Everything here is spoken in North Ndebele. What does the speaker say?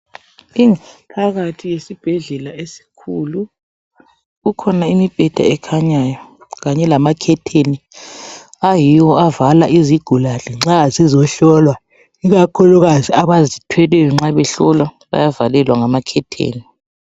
Phakathi kwesibhedlela esikhulu. Kukhona imibheda ekhanyayo, kunye lamakhetheni ayiwo avala izigulane nxa zizehlolwa, ikakhulukazi abazithweleyo nxa behlolwa bayavalelwa ngamakhetheni.